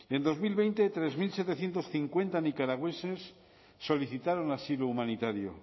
en dos mil veinte tres mil setecientos cincuenta nicaragüenses solicitaron asilo humanitario